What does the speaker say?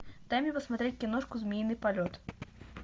дай мне посмотреть киношку змеиный полет